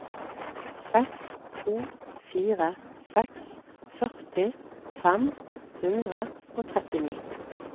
seks to fire seks førti fem hundre og trettini